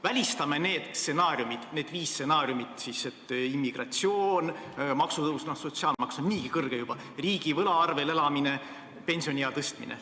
Välistame järgmised stsenaariumid: immigratsioon, maksutõus – no sotsiaalmaks on niigi kõrge juba –, riigivõla arvel elamine, pensioniea tõstmine.